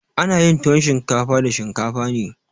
Ana yin tuwon shinkafa da shinkafa ne.